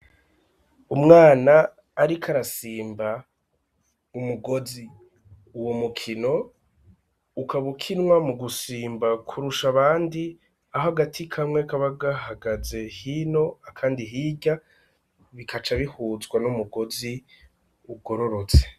Umwana ariko arasimba umugozi uwo mukino ukabukinwa mu gusimba kurusha abandi aho agati kamwe kabagahagaze hino akandi hirya bikaca bihuzwa n'umugozi ugororotse.